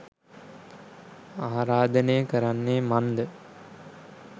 ආරාධනය කරන්නේ මන්ද?